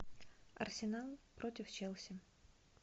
арсенал против челси